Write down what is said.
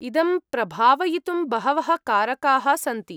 इदं प्रभावयितुं बहवः कारकाः सन्ति।